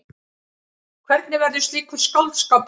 Hvernig verður slíkur skáldskapur til?